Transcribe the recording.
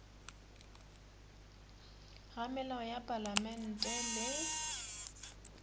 ga melao ya palamente le